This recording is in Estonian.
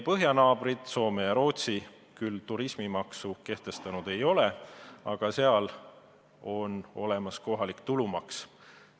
Põhjanaabrid Soome ja Rootsi küll turismimaksu kehtestanud ei ole, aga seal on olemas kohalik tulumaks.